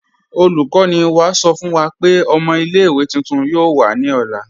Olùkọ̀nì wá sọ̀ fún wà pé ọ̀mọ̀ ilẹ̀-ìwé tuntun yoo wà ní ọ̀lá.